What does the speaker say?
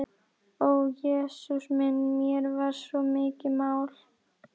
Ó Jesús minn, mér er svo mikið mál.